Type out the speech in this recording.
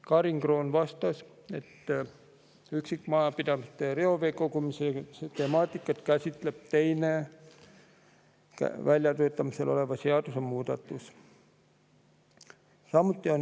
Karin Kroon vastas, et üksikmajapidamiste reovee kogumise temaatikat käsitleb teine, väljatöötamisel olev seadusemuudatus.